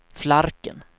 Flarken